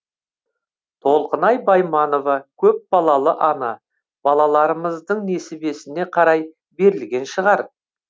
толқынай байманова көпбалалы ана балаларымыздың несібесіне қарай берілген шығар